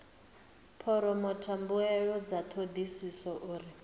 phoromotha mbuelo dza thodisiso uri